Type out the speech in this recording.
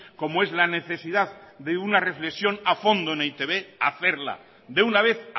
como es la necesidad de una reflexión a fondo en e i te be hacerla de una vez